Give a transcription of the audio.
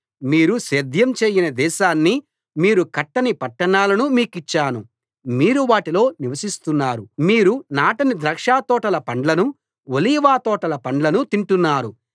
మీరు సేద్యం చేయని దేశాన్నీ మీరు కట్టని పట్టణాలనూ మీకిచ్చాను మీరు వాటిలో నివసిస్తున్నారు మీరు నాటని ద్రాక్షతోటల పండ్లనూ ఒలీవ తోటల పండ్లనూ తింటున్నారు